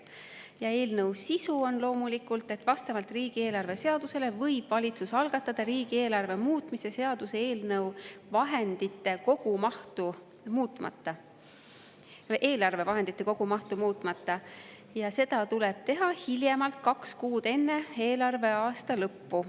Ja eelnõu sisu on see, et vastavalt riigieelarve seadusele võib valitsus algatada riigieelarve muutmise seaduse eelnõu vahendite kogumahtu muutmata ja seda tuleb teha hiljemalt kaks kuud enne eelarveaasta lõppu.